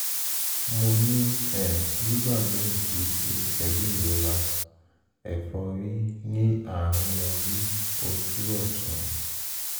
mo ní (nígbà míì kìí ṣe pẹ̀lú ìrora) ẹ̀fọ́rí ní àárín orí/ojú ọ̀tún